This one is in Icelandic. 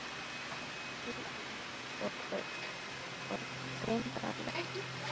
Óp píp og urr, og grimmdarlegt ýlfur.